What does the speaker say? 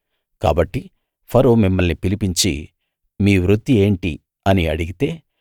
కాబట్టి ఫరో మిమ్మల్ని పిలిపించి మీ వృత్తి ఏంటి అని అడిగితే